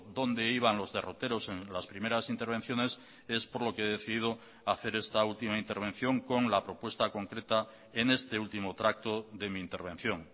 donde iban los derroteros en las primeras intervenciones es por lo que he decidido hacer esta última intervención con la propuesta concreta en este último tracto de mi intervención